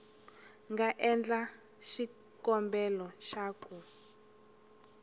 nga endla xikombelo xa ku